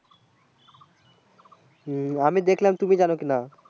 হুম আমি দেখলাম তুমি জানো কি না